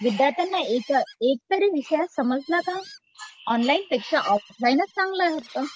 विद्यार्थ्यांना एक एकतरी विषय समजला का? ऑनलाईन पेक्षा ऑफलाईनच चांगलं होतं.